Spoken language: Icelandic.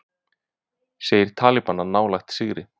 Segir talibana nálægt sigri